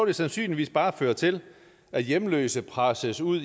det sandsynligvis bare føre til at hjemløse presses ud